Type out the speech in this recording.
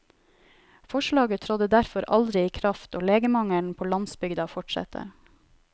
Forslaget trådte derfor aldri i kraft og legemangelen på landsbygda fortsetter.